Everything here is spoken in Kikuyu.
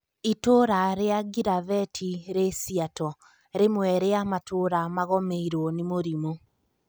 Itũra ria Giravetĩ rĩ siato, rĩmwe rĩa matũũra magomeiruo nĩ mũrimũ